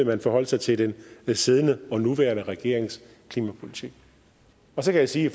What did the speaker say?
man forholdt sig til den siddende og nuværende regerings klimapolitik så kan jeg sige i